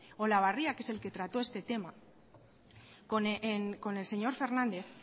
olabarria que es el que trató este tema con el señor fernández